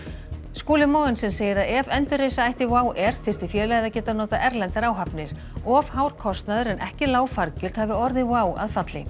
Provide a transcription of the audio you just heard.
Skúli Mogensen segir að ef endurreisa ætti WOW þyrfti félagið að geta notað erlendar áhafnir of hár kostnaður en ekki lág fargjöld hafi orðið WOW að falli